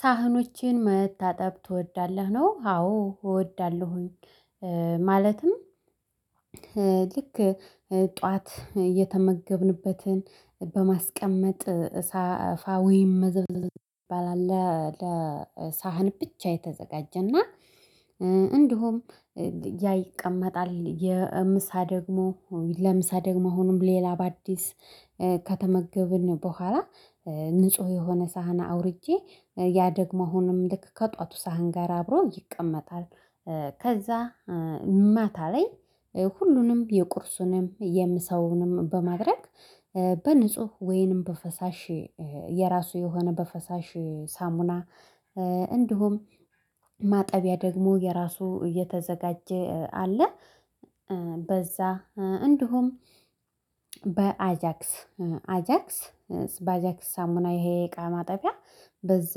ሳህኖቼን መታጠብ ትወዳለህ? ነው አዎ እወዳለሁኝ ማለትም ልክ ጠዋት የተመገብንበትን በማስቀመጥ ሳፋ ወይም መዘብለዝ ይባላል ለሳህን ብቻ የተዘጋጀና እንደውም ያ ይቀመጣል የምሳ ደግሞ ለምሳ ደግሞ አሁንም ሌላ በአዲስ ከተመገብን በኋላ ንጹህ የሆነ ሳህና አውርጄ ያ ደግሞ አሁንም ልክ ከጧቱ ሳህን ጋር አብሮ ይቀመጣል ከዛ ማታ ላይ ሁሉንም የቁርሱንም የምሳውንም በማድረግ በንጹህ ወይንም በፈሳሽ የራሱ የሆነ በፈሳሽ ሳሙና እንዲሁም ማጠቢያ ደግሞ የራሱ እየተዘጋጀ አለ በዛ እንዲሁም አጃክስ በአጃክስ ሳሙና ይሄ የቃ ማጠፊያ በዛ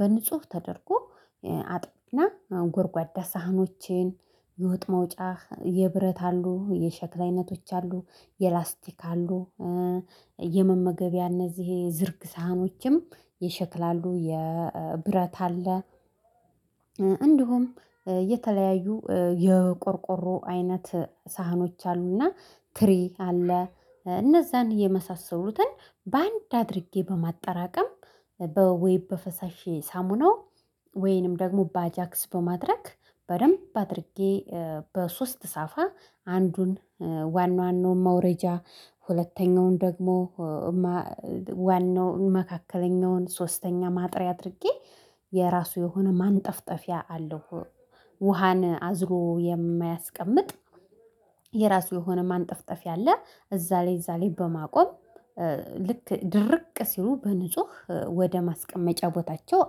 በንጹህ ተደርጎ አጥብና ጎርጓዳ ሳህኖቼን የወጥ መውጫ የብረት አሉ የሸክላ አይነቶች አሉ የላስቲክ አሉ የመመገቢያ እነዚህ የዝርግ ሳህኖችም ይሸክላሉ የብረት አለ እንዲሁም የተለያዩ የቆርቆሮ አይነት ሳህኖች አሉና ትሪ አለ እነዛን የመሳሰሉትን በአንድ አድርጌ በማጠራቀም በወይ በፈሳሼ ሳሙናው ወይንም ደግሞ በአጃክስ በማድረግ በደንብ አድርጌ በሶስት ሳፋ አንዱን ዋና ዋናውን መውረጃ ሁለተኛውን ደግሞ ዋናውን መካከለኛውን ሶስተኛ ማጥሪያ አድርጌ የራሱ የሆነ ማንጠፍጠፊያ አለው ውሃን አዝሮ የማያስቀምጥ የራሱ የሆነ ማንጠፍጠፍ አለ እዛ ላይ እዛ ላይ በማቆም ልክ ድርቅ ሲሉ በንጹህ ወደ ማስቀመጫ ቦታቸው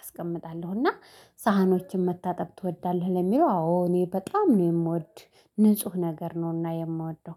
አስቀምጣለሁ እና ሳህኖችን መታጠብ ትወዳለህ ለሚለው አዎ እኔ በጣም ነው የምወድ ንጹህ ነገር ነውና የምወደው